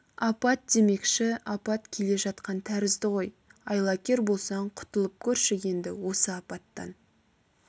апат демекші апат келе жатқан тәрізді ғой айлакер болсаң құтылып көрші енді осы апаттан